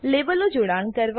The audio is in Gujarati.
લેબલો જોડાણ કરવા